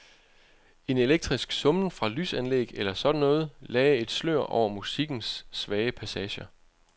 En elektrisk summen fra lysanlæg eller sådan noget lagde et slør over musikkens svage passager.